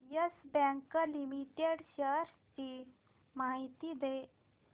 yes Bank Limited shares ची माहिती दे